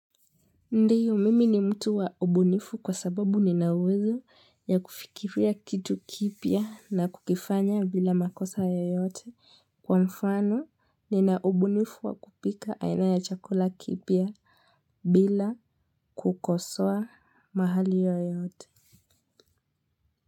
Ndiyo mimi ni mtu wa ubunifu kwa sababu ninauwezo ya kufikiria kitu kipya na kukifanya bila makosa yoyote kwa mfano nina ubunifu wa kupika aina ya chakula kipya bila kukosea mahali yoyote.